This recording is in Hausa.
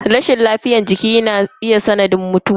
Rashin lafiyar jiki na iya zama sanadin mutuwa mutum.